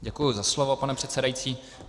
Děkuji za slovo, pane předsedající.